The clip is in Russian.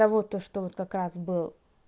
вот то что вот как раз был